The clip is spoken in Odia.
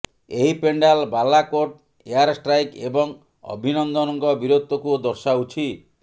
ଏହି ପେଣ୍ଡାଲ ବାଲାକୋଟ ଏୟାର ଷ୍ଟ୍ରାଇକ୍ ଏବଂ ଅଭିନନ୍ଦନଙ୍କ ବୀରତ୍ୱକୁ ଦର୍ଶାଉଛି